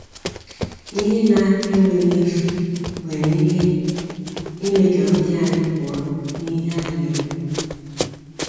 Ihe na enwere isi nwere ike ime ka uche anyị pụọ n'ihe ana ekwu.